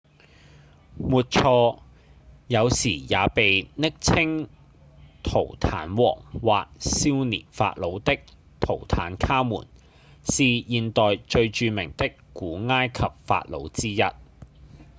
沒錯！有時也被暱稱「圖坦王」或「少年法老」的圖坦卡門是現代最著名的古埃及法老之一